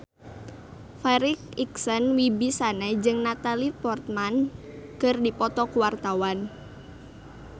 Farri Icksan Wibisana jeung Natalie Portman keur dipoto ku wartawan